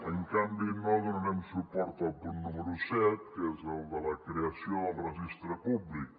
en canvi no donarem suport al punt número set que és el de la creació del registre públic